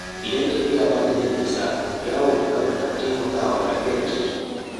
Idan tafiya ba ta da nisa, yawo da ƙafa na taimakawa lafiyar jiki.